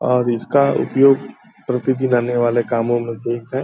और इसका उपयोग प्रतिदिन आने वालों में से एक है।